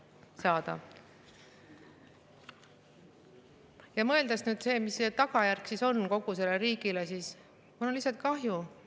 Mõeldes nüüd, mis on selle tagajärg on kogu riigile, siis mul on lihtsalt kahju.